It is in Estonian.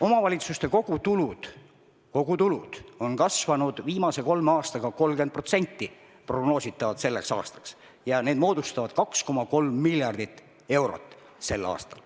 Omavalitsuste kogutulud peaks prognoositavalt olema selleks aastaks kasvanud 30% ja need moodustavad tänavu 2,3 miljardit eurot.